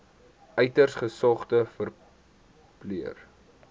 uiters gesogde verpleër